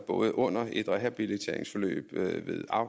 både under et rehabiliteringsforløb